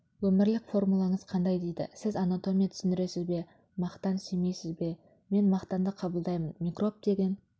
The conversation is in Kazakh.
өмірлік формулаңыз қандай дейді сіз анатомия түсіндіресіз бе мақтан сүймейсіз бе мен мақтанды қабылдаймын микроб деген